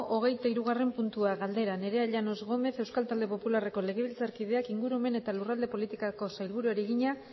hogeita hirugarrena puntua galdera nerea llanos gómez euskal talde popularreko legebiltzarkideak ingurumen eta lurralde politikako sailburuari egina